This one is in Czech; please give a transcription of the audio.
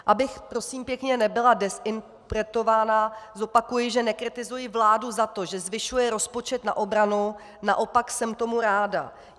Abych prosím pěkně nebyla dezinterpretována, zopakuji, že nekritizuji vládu za to, že nezvyšuje rozpočet na obranu, naopak jsem tomu ráda.